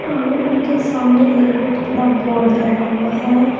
और उनके सामने एक बहुत बड़ा बोर्ड लगा हुआ है।